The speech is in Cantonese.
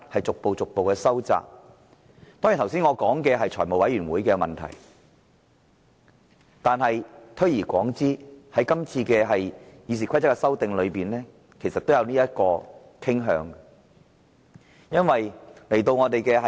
當然，我剛才提及的是財務委員會的問題，但推而廣之，在今次有關《議事規則》的修訂上，其實也有此傾向。